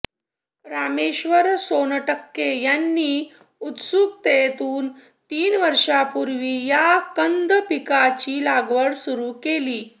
रामेश्वर सोनटक्के यांनी उत्सुकतेतून तीन वर्षापूर्वी या कंद पिकाची लागवड सुरू केली